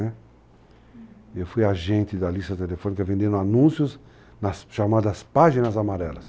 uhum. Eu fui agente da lista telefônica vendendo anúncios nas chamadas páginas amarelas.